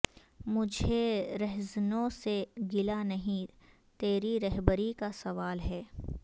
مجھے رہزنوں سے گلہ نہیں تری رہبری کا سوال ہے